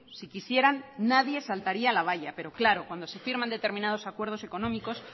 si quisieran nadie saltaría la valla pero claro cuando se firman determinados acuerdos económicos